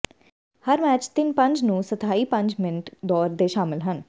ਹਰ match ਤਿੰਨ ਪੰਜ ਨੂੰ ਸਥਾਈ ਪੰਜ ਮਿੰਟ ਦੌਰ ਦੇ ਸ਼ਾਮਲ ਹਨ